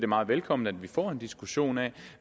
meget velkomment at vi får en diskussion af